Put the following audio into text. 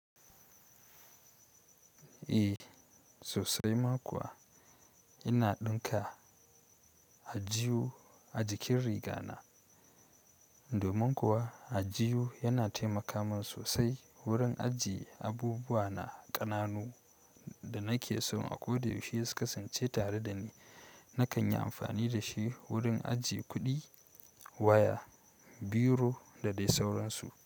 Eh sosai ma kuwa ina ɗinka aljuhu a jikin riga na. Domin kuwa aljihu yana taimaka min sosai wurin ajiye abubuwa na ƙananu da nake so a ko da yaushe su kasance tare da ni. Nakan yi amfani da shi wurin ajiye kuɗi, waya, biro da dai sauransu.